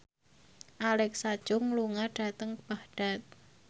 Alexa Chung lunga dhateng Baghdad